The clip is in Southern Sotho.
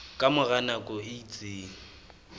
ka mora nako e itseng